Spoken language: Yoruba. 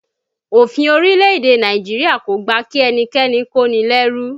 Òfin orílẹ̀-èdè Nàìjíríà kò gbà kí ẹnikẹ́ni kó ni lẹ́rú